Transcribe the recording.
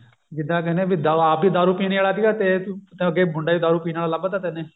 ਜਿੱਦਾਂ ਕਹਿਨੇ ਆ ਵੀ ਆਪ ਦਾਰੂ ਪੀਨੇ ਆਲੇ ਸੀਗਾ ਤੇ ਅੱਗੇ ਮੁੰਡਾ ਵੀ ਦਾਰੂ ਪੀਣ ਆਲਾ ਲੱਭਤਾ